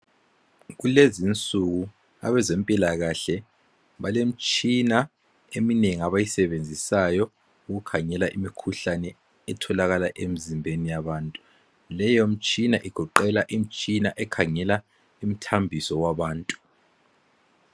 kulezinsuku abezempilakahle balemitshina eminengi abayisebenzisayo ukukhangela imikhuhlane etholakala emizimbeni yabantuleyo mitshina igoqela imitshina ekhangela imithambiso yabantu